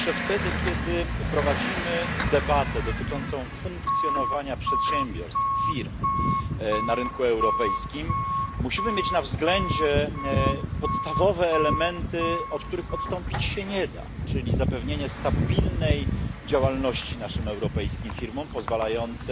Zawsze wtedy, kiedy prowadzimy debatę dotyczącą funkcjonowania przedsiębiorstw, firm na rynku europejskim, musimy mieć na względzie podstawowe elementy, od których odstąpić się nie da, czyli zapewnienie stabilnej działalności naszym europejskim firmom pozwalającej